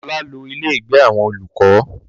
Ọlá lọ ilé ìgbé àwọn olùkọ́